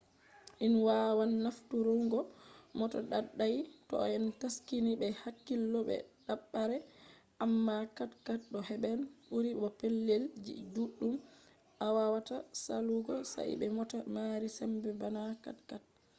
in wawan nafturungo mota daidai toh en taskini be hakkilo be dabare amma 4×4 to heban buri bo pellel ji duddum awawata salugo sai be mota mari sembe bana 4×4